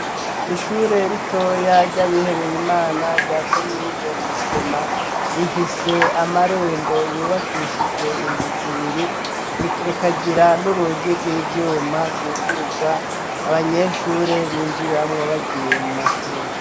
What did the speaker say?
Ishure ritoya ryabihebeye Imana rya komine Musema, rifise amarembo yubakishijwe inzu zibiri, rukagira n'urugi rw'ivyuma rwugururwa abanyeshure binjiramwo bagiye mu mashuri.